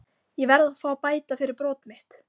Ég verð að fá að bæta fyrir brot mitt.